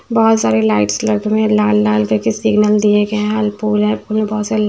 बहुत सारे लाइट्स लगे हुए हैं लाल लाल करके सिग्नल दिए गए हैं और पोल है और बहुत सारे--